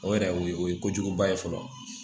O yɛrɛ o ye kojuguba ye fɔlɔ